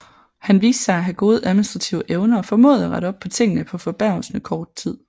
Han viste sig at have gode administrative evner og formåede at rette op på tingene på forbavsende kort tid